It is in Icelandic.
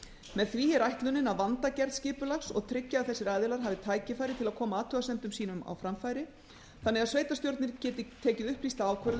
með því er ætlunin að vanda gerð skipulags og tryggja að þessir aðilar hafi tækifæri til að koma athugasemdum sínum á framfæri þannig að sveitarstjórnir geti tekið upplýsta ákvörðun um